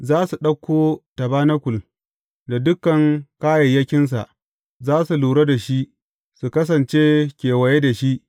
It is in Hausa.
Za su ɗauko tabanakul da dukan kayayyakinsa; za su lura da shi, su kasance kewaye da shi.